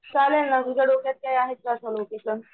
चालेलं ना तुझ्या डोक्यांत कांय आहेत का लोकेशन?